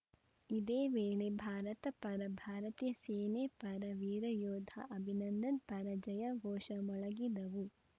ಇದೇ ವೇಳೆ ಭಾರತ ಪರ ಭಾರತೀಯ ಸೇನೆ ಪರ ವೀರ ಯೋಧ ಅಭಿನಂದನ್‌ ಪರ ಜಯ ಘೋಷ ಮೊಳಗಿದವು